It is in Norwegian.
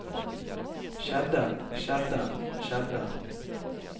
skjedde skjedde skjedde